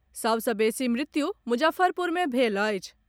सभ सॅ बेसी मृत्यु मुजफ्फरपुर मे भेल अछि।